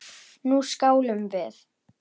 Nú skálum við!